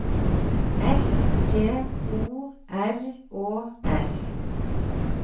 S T O R Å S